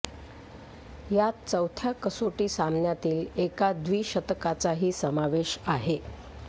यात चौथ्या कसोटी सामन्यातील एका द्विशतकाचाही समावेश आहे